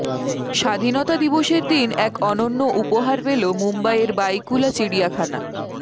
স্বাধীনতা দিবসের দিন এক অনন্য উপহার পেল মুম্বইয়ের বাইকুলা চিড়িয়াখানা